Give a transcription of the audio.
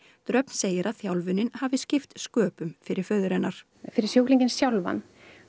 dröfn segir að þjálfunin hafi skipt sköpum fyrir föður hennar fyrir sjúklingana sjálfa